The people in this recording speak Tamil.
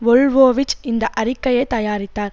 வொல்வோவிச் இந்த அறிக்கையை தயாரித்தார்